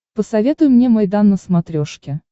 посоветуй мне майдан на смотрешке